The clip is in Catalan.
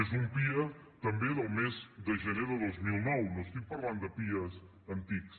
és un pia també del mes de gener de dos mil nou no estic parlant de pia antics